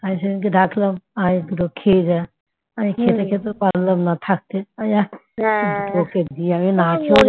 আর সেদিনকে ডাকলাম আয় কেলো খেয়ে যা খেতে খেতে থাকতে পারলাম থাকতে ওকে দিয়ে না খেয়ে